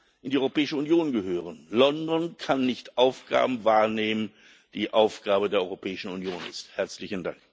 in die Europäische Union gehören. London kann nicht Aufgaben wahrnehmen, die Aufgabe der Europäischen Union sind.